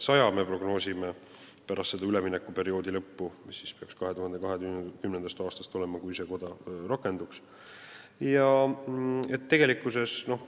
Me prognoosime, et pärast üleminekuperioodi lõppu, 2020. aastast, kui see koda rakenduks, peaks neid olema üle saja.